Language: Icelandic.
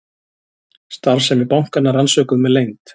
Starfsemi bankanna rannsökuð með leynd